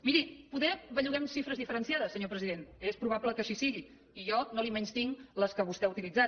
miri poder belluguem xifres diferenciades senyor president és probable que així sigui i jo no li menystinc les que vostè ha utilitzat